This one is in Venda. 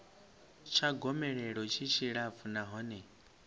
tsha gomelelo tshi tshilapfu nahone